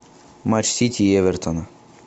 матч сити и эвертона